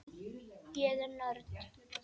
Ég er nörd.